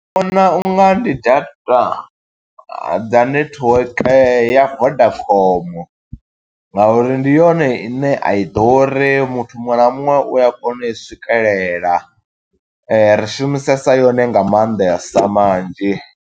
Ndi vhona u nga ndi data dza netiweke ya Vodacom nga uri ndi yone ine a i ḓuri. Muthu muṅwe na muṅwe u ya kona u i swikelela, ri shumisesa yone nga maanḓesa manzhi.